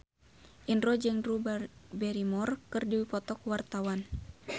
Indro jeung Drew Barrymore keur dipoto ku wartawan